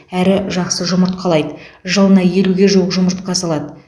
әрі жақсы жұмыртқалайды жылына елуге жуық жұмыртқа салады